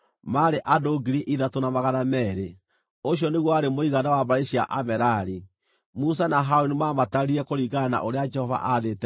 Ũcio nĩguo warĩ mũigana wa mbarĩ cia Amerari. Musa na Harũni maamatarire kũringana na ũrĩa Jehova aathĩte Musa.